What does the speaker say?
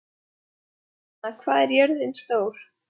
Friðfinna, hvað er jörðin stór?